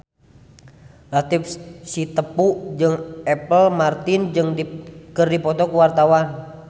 Latief Sitepu jeung Apple Martin keur dipoto ku wartawan